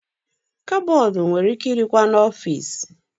Kabọọdụ nwere ike ị dịkwa n'ọfici.